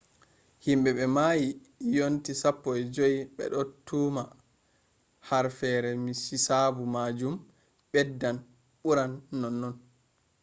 himbe be mayi yonti 15 bedo tuma harfeere hisabu majum beddan buran nonnon